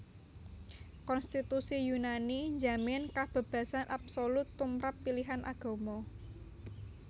Konstitusi Yunani njamin kabébasan absolut tumrap pilihan agama